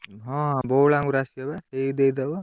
ହଁ ବଉଳାଙ୍ଗରୁ ଆସିବ ବା ଦେଇ ଦେଇଦବ।